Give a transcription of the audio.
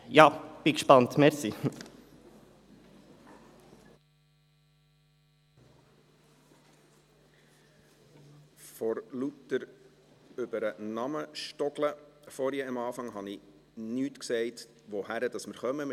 Vor lauter Über-den-Namen-stolpern, vorhin am Anfang, habe ich nicht gesagt, zu welchem Traktandum wir kommen.